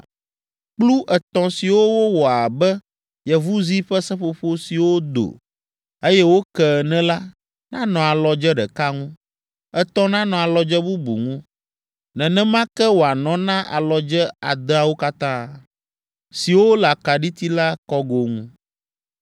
Kplu etɔ̃ siwo wowɔ abe yevuzi ƒe seƒoƒo siwo do, eye woke ene la, nanɔ alɔdze ɖeka ŋu, etɔ̃ nanɔ alɔdze bubu ŋu. Nenema ke wòanɔ na alɔdze adeawo katã, siwo le akaɖiti la kɔgo ŋu.